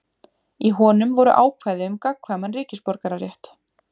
Í honum voru ákvæði um gagnkvæman ríkisborgararétt.